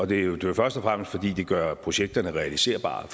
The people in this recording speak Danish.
det er jo først og fremmest fordi det gør projekterne realiserbare